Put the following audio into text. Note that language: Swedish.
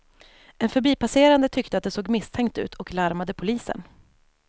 En förbipasserande tyckte att det såg misstänkt ut och larmade polisen.